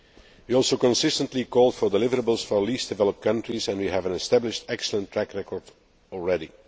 We also consistently called for deliverables for Least Developed Countries and we have an established, excellent track record already.